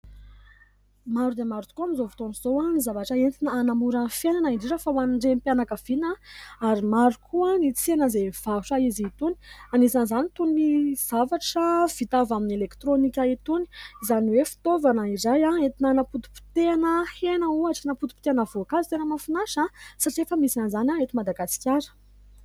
Maro dia maro tokoa amin'izao fotoana izao ny zavatra entina hanamora fiainana indrindra fa ho an'ny renim-pianakaviana. Ary maro koa ny tsena izay mivarotra izy itony, anisan'izany itony zavatra vita avy amin'ny elektrônika itony izany hoe fitaovana iray entina hanapotipotehana hena ohatra, hanapotipotehina voankazo. Tena mahafinaritra satria efa misy an'izany eto Madagasikara.